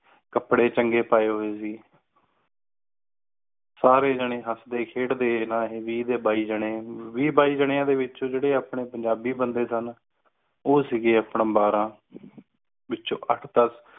ਕੱਪੜੇ ਚੰਗੇ ਪਾਏ ਹੂਏ ਸੀ ਸਾਰੇ ਜਣੇ ਹੱਸਦੇ ਖੇਡਦੇ ਰਹੇ ਵੀਹ ਤੇ ਬਾਇ ਜਣੇ ਵੀਹ ਬਾਈ ਜਣੀਆਂ ਦੇ ਵਿਚ ਵੀ ਜੇੜੇ ਆਪਣੇ ਪੰਜਾਬੀ ਬੰਦੇ ਸਨ ਉਹ ਸੀਗੇ ਅਪਣੇ ਬਾਰਾਂ ਬਾਕੀ ਵਿੱਚੋ ਅੱਠ ਦਸ